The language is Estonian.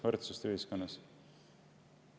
Võrdsust ühiskonnas.